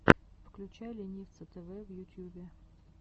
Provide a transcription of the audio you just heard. включай ленивца тэвэ в ютьюбе